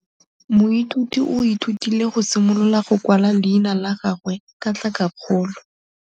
Moithuti o ithutile go simolola go kwala leina la gagwe ka tlhakakgolo.